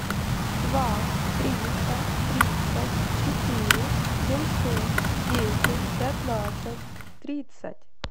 два триста тридцать четыре семьсот десять пятнадцать тридцать